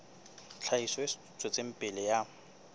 tlhahiso e tswetseng pele ya